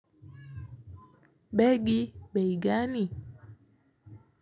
Begi, bei gani.